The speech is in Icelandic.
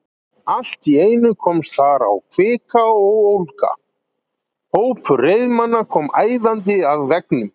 Allt í einu komst þar á kvika og ólga: hópur reiðmanna kom æðandi að veggnum.